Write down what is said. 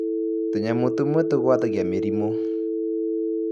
Tũnyamũ tũmwe tũgwatagia mĩrimũ.